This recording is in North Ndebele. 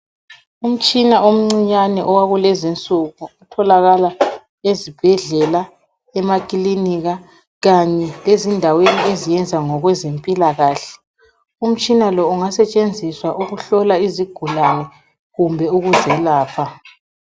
Umtshina omncinyane owakulezinsuku otholakala ezibhedlela, emaklinika kanye lezindaweni eziyenza ngokwezempilakahle. Umtshina lo ungasetshenziswa ukuhlola izigulane kumbe ukuzelapha.